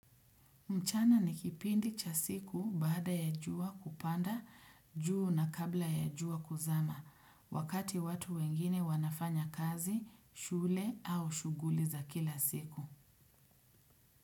Mchana ni kipindi cha siku baada ya jua kupanda, juu na kabla ya jua kuzama, wakati watu wengine wanafanya kazi, shule au shughuli za kila siku.